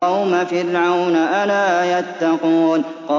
قَوْمَ فِرْعَوْنَ ۚ أَلَا يَتَّقُونَ